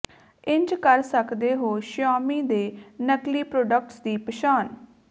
ਇੰਝ ਕਰ ਸਕਦੇ ਹੋ ਸ਼ਾਓਮੀ ਦੇ ਨਕਲੀ ਪ੍ਰੋਡਕਟਸ ਦੀ ਪਛਾਣ